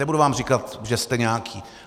nebudu vám říkat, že jste nějaký.